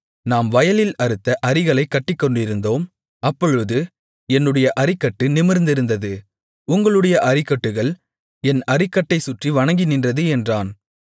நாம் வயலில் அறுத்த அரிகளைக் கட்டிக்கொண்டிருந்தோம் அப்பொழுது என்னுடைய அரிக்கட்டு நிமிர்ந்திருந்தது உங்களுடைய அரிக்கட்டுகள் என் அரிக்கட்டைச் சுற்றி வணங்கி நின்றது என்றான்